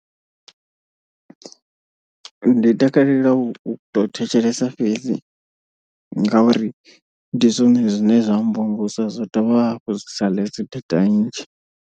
Ndi takalela u to thetshelesa fhedzi ngauri ndi zwone zwine zwa mvumvusa zwa dovha hafhu zwi sa ḽese data nnzhi.